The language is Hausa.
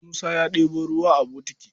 Musa ya ɗebo ruwa a bokiti.